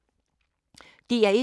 DR1